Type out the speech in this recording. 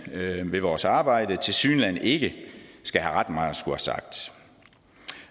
ved vores arbejde tilsyneladende ikke skal have ret meget